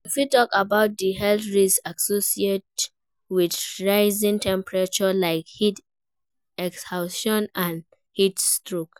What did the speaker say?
You fit talk about di health risks associated with rising temperatures, like heat exhaustion and heat stroke.